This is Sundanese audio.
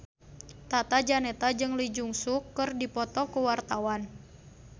Tata Janeta jeung Lee Jeong Suk keur dipoto ku wartawan